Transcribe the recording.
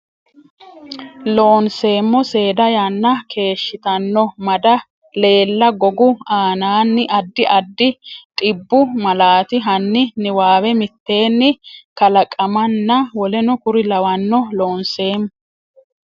Loonseemmo seeda yanna keeshshitanno mada leella gogu aanaanni addi addi dhibbu malaati hanni niwaawe mitteenni kalaqamanna w k l Loonseemmo.